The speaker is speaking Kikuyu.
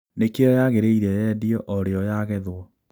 Nĩkio niyagĩrĩle yendio o rĩo yagethwo